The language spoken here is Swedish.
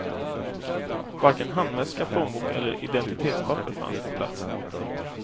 Varken handväska, plånbok eller identitetspapper fanns på platsen.